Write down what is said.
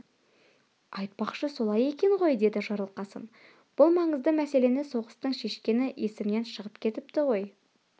айтпақшы солай екен ғой деді жарылқасын бұл маңызды мәселені соғыстың шешкені есімнен шығып кетіпті ғой